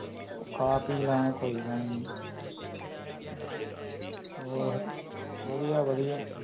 ਖਾ ਪੀ ਲਾਂਗੇ ਕੋਈ ਗੱਲ ਨਹੀਂ ਹੋਰ ਵਧੀਆ ਵਧੀਆ